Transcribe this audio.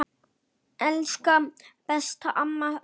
Elsku besta amma Laufey.